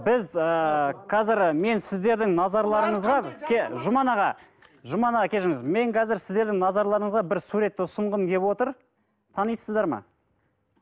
біз ыыы қазір мен сіздердің назарларыңызға жұман аға жұман аға кешіріңіз мен қазір сіздердің назарларыңызға бір суретті ұсынғым келіп отыр танисыздар ма